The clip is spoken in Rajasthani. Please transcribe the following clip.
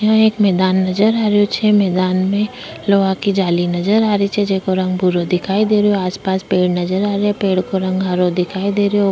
यहाँ एक मैदान नजर आ रही छे मैदान में लोहा की जाली नजर आ रही छे जेको रंग भूरो दिखाई दे रही आस पास पेड़ नजर आ रहे पेड़ का रंग हरो दिखाई दे रयो।